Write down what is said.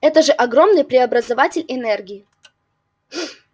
это же огромный преобразователь энергии